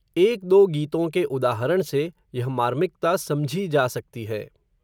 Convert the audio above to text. एक दो गीतों के उदाहरण से, यह मार्मिकता, समझी जा सकती है